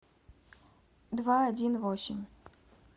два один восемь